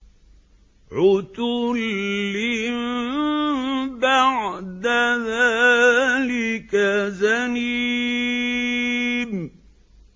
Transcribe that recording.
عُتُلٍّ بَعْدَ ذَٰلِكَ زَنِيمٍ